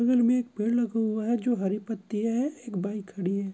बगल में एक पेड़ लगा हुआ है जो हरी पत्तिया है एक बाइक खड़ी है।